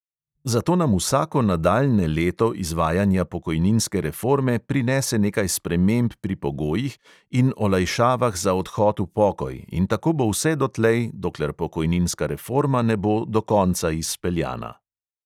Zato nam vsako nadaljnje leto izvajanja pokojninske reforme prinese nekaj sprememb pri pogojih in olajšavah za odhod v pokoj in tako bo vse dotlej, dokler pokojninska reforma ne bo do konca izpeljana ...